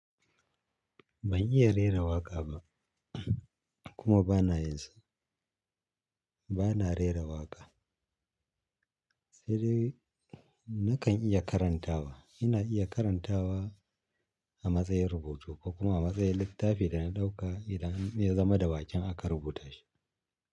Ban iya rera waƙa ba kuma ba na yin sa. Ba na rera waƙa. Sai dai na kan iya karantawa. Ina iya karantawa a matsayin rubutu ko kuma a matsayin littafi da na ɗauka idan ya zama da baƙin aka rubuta shi.